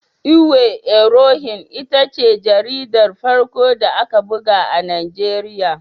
Iwe Irohin ita ce jaridar farko da aka buga a Najeriya.